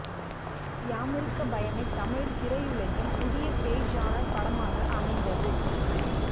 யாமிருக்க பயமே தமிழ் திரையுலகில் புதிய பேய் ஜானர் படமாக அமைந்தது